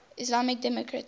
islamic democracies